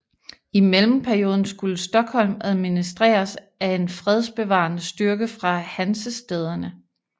I mellemperioden skulle Stockholm administreres af en fredsbevarende styrke fra hansestæderne